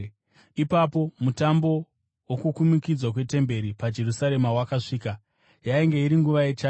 Ipapo Mutambo woKukumikidzwa kweTemberi paJerusarema wakasvika. Yainge iri nguva yechando,